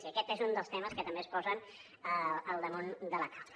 i aquest és un dels temes que també es posen al damunt de la taula